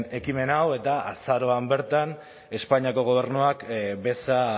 ekimen hau eta azaroan bertan espainiako gobernuak beza